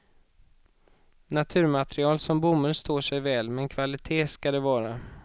Naturmaterial som bomull står sig väl men kvalitét skall det vara.